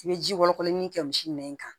I bɛ ji kɔlɔ min kɛ misi nɛn kan